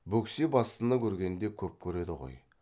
бөксе бастыны көргенде көп көреді ғой